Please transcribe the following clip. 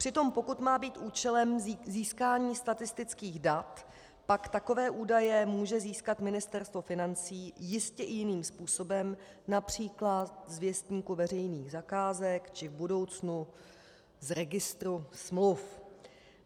Přitom pokud má být účelem získání statistických dat, pak takové údaje může získat Ministerstvo financí jistě i jiným způsobem, například z Věstníku veřejných zakázek či v budoucnu z registru smluv.